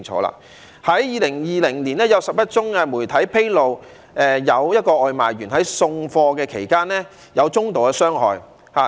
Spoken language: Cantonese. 在2020年，媒體披露了11宗外賣員在送貨期間受到中度傷害的個案。